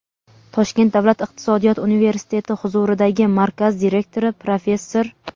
Toshkent davlat iqtisodiyot universiteti huzuridagi markaz direktori, professor;.